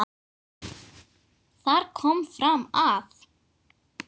Þar kom fram að